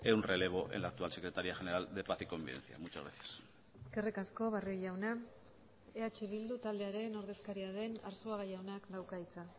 un relevo en la actual secretaría general de paz y convivencia muchas gracias eskerrik asko barrio jauna eh bildu taldearen ordezkaria den arzuaga jaunak dauka hitza